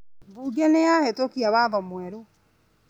Bunge nĩyahĩtũkia watho mwerũ?